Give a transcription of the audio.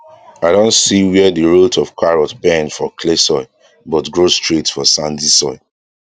i don see where de root of carrot bend for clay soil but grow straight for sandy soil